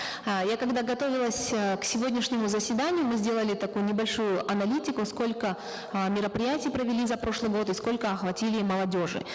э я когда готовилась э к сегодняшнему заседанию мы сделали такую небольшую аналитику сколько э мероприятий провели за прошлый год и сколько охватили молодежи